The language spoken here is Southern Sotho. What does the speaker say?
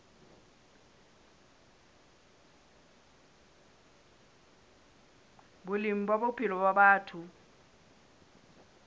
boleng ba bophelo ba batho